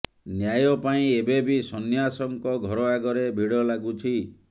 ନ୍ୟାୟ ପାଇଁ ଏବେ ବି ସନ୍ନ୍ୟାସଙ୍କ ଘର ଆଗରେ ଭିଡ଼ ଲାଗୁଛି